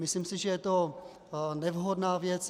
Myslím si, že je to nevhodná věc.